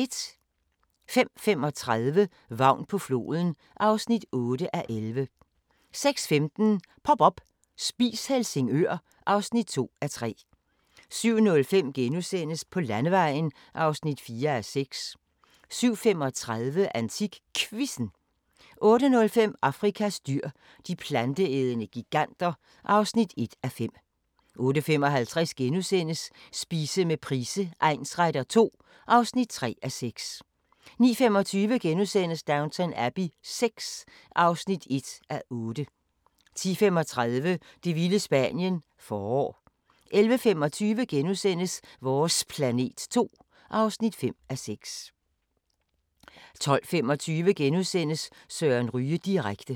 05:35: Vagn på floden (8:11) 06:15: Pop up – Spis Helsingør (2:3) 07:05: På Landevejen (4:6)* 07:35: AntikQuizzen 08:05: Afrikas dyr – de planteædende giganter (1:5) 08:55: Spise med Price egnsretter II (3:6)* 09:25: Downton Abbey VI (1:8)* 10:35: Det vilde Spanien – forår 11:25: Vores planet 2 (5:6)* 12:25: Søren Ryge direkte *